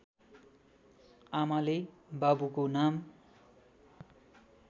आमाले बाबुको नाम